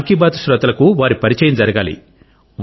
మన్ కి బాత్ శ్రోతలకు వారి పరిచయం జరగాలి